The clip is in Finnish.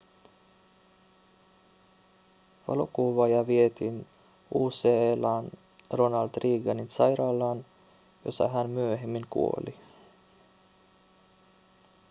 valokuvaaja vietiin ucla:n ronald reaganin sairaalaan jossa hän myöhemmin kuoli